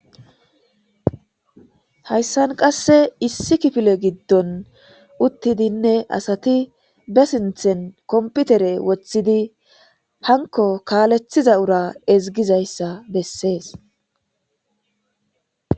Hayssan qasse issi kifile giddon uttidinne asati be sinthen komputere woththidi hanko kaalethiza ura ezigizayssa bessees.